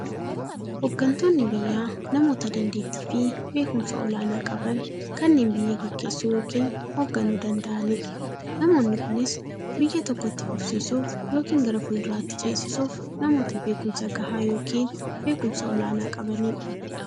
Hooggantoonni biyyaa namoota dandeettiifi beekumsa olaanaa qaban, kanneen biyya gaggeessuu yookiin hoogganuu danda'aniidha. Namoonni kunis, biyya tokko itti fufsiisuuf yookiin gara fuulduraatti ceesisuuf, namoota beekumsa gahaa yookiin beekumsa olaanaa qabaniidha.